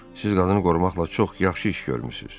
Siz qadını qorumaqla çox yaxşı iş görmüsünüz.